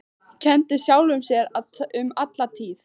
Kenndi sjálfum sér um alla tíð.